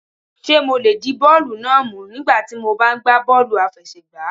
Ṣé mo lè di bọ́ọ̀lù náà mú nígbà tí mo bá ń gba bọ́ọ́lù àfẹsẹ̀gbá?